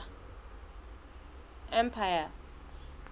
empire